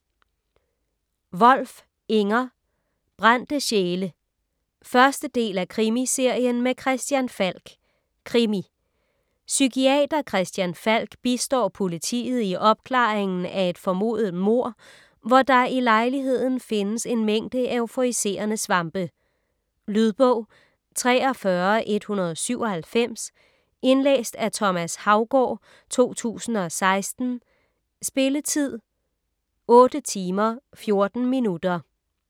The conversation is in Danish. Wolf, Inger: Brændte sjæle 1. del af Krimiserien med Christian Falk. Krimi. Psykiater Christian Falk bistår politiet i opklaringen af et formodet mord, hvor der i lejligheden findes en mængde euforiserende svampe. Lydbog 43197 Indlæst af Thomas Haugaard, 2016. Spilletid: 8 timer, 14 minutter.